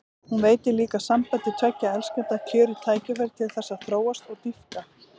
Hún veitir líka sambandi tveggja elskenda kjörið tækifæri til þess að þróast og dýpka.